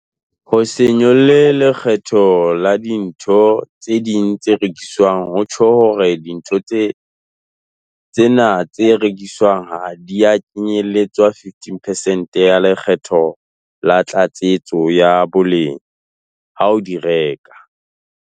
Ho se nyolle lekgetho la dintho tse ding tse rekiswang ho tjho hore dintho tsena tse rekiswang ha di a kenyeletswa 15 percent ya Le kgetho la Tlatsetso ya Boleng ha o di reka.